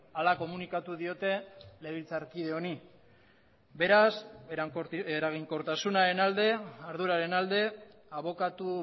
hala komunikatu diote legebiltzarkide honi beraz eraginkortasunaren alde arduraren alde abokatu